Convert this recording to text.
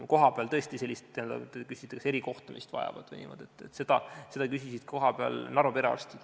Kui te küsisite, kas kohapeal vajatakse erikohtlemist, siis seda küsisid ka Narva perearstid.